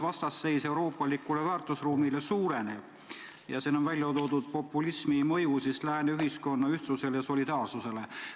Vastasseis euroopalikule väärtusruumile suureneb ja siin on välja toodud populismi mõju lääne ühiskonna ühtsusele ja solidaarsusele.